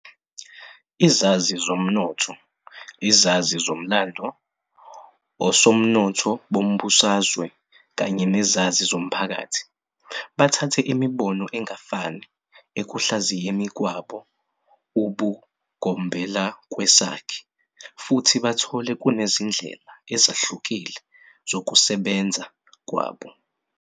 Izazi zomnotho, izazi zomlando, osomnotho bombusazwe kanye nezazi zomphakathi bathathe imibono engafani ekuhlaziyeni kwabo ubugombelakwesakhe futhi bathole kunezindlela ezihlukile zokusebenza kwabo.